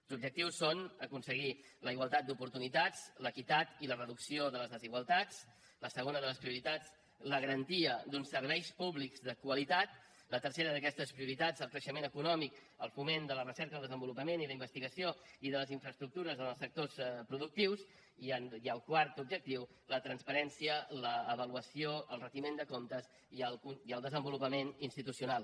els objectius són aconseguir la igualtat d’oportunitats l’equitat i la reducció de les desigualtats la segona de les prioritats la garantia d’uns serveis públics de qualitat la tercera d’aquestes prioritats el creixement econòmic el foment de la recerca i el desenvolupament i la investigació i de les infraestructures en els sectors productius i el quart objectiu la transparència l’avaluació el retiment de comptes i el desenvolupament institucional